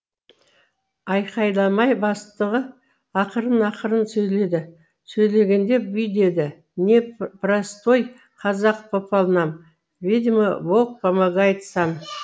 айқайламай бастығы ақырын ақырын сөйледі сөйлегенде бүй деді не простой казах попал нам видимо бог помогает сам